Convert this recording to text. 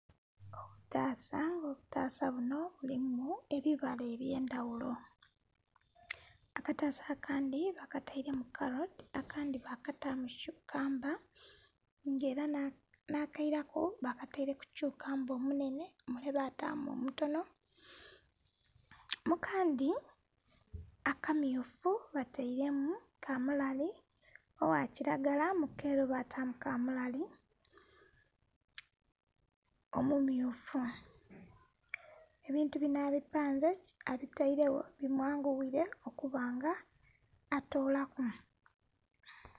Obutasa nga obutasa binho nga bulimu ebibala ebyendhaghulo akatasa akandhi bakatairemu karoti, akandi bakatamu chukamba nga era nha keiraku bakatairemu chukamba omunene mule bakatamu omutonho mukandhi aka mmyufu batairemu kamulali ogha kilagala mu keru batamu kamulali omumyufu. Ebintu binho abipanze abitairegho bi mwanguyire okuba nga atoolaku.